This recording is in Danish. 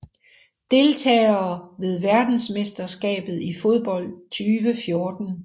Deltagere ved verdensmesterskabet i fodbold 2014